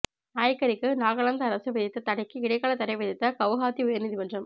நாய் கறிக்கு நாகாலாந்து அரசு விதித்த தடைக்கு இடைக்காலத் தடை விதித்த கவுஹாத்தி உயர்நீதிமன்றம்